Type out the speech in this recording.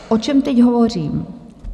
O čem teď hovořím?